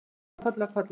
Og síðan koll af kolli.